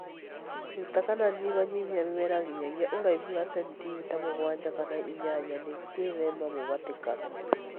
[Ruta kana nyihanyihia mĩmera nginyagia ũraihu wa centimita mũgwanja kana inyanya nĩguo gwĩthema mũhatĩkano